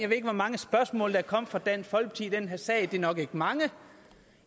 ved ikke hvor mange spørgsmål der er kommet fra dansk folkeparti i den her sag men det er nok ikke mange